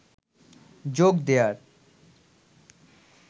যোগ দেয়ার